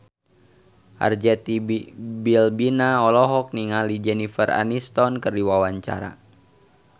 Arzetti Bilbina olohok ningali Jennifer Aniston keur diwawancara